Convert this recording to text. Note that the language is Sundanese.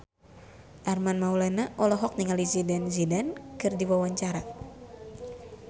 Armand Maulana olohok ningali Zidane Zidane keur diwawancara